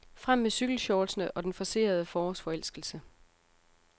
Frem med cykelshortsene og den forcerede forårsforelskelse.